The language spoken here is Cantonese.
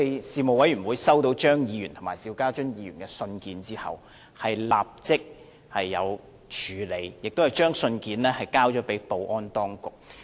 事務委員會在收到張議員和邵家臻議員的來函後，已立即作出處理，並把信件轉交保安當局。